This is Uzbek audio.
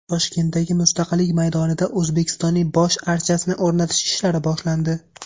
Toshkentdagi Mustaqillik maydonida O‘zbekistonning bosh archasini o‘rnatish ishlari boshlandi.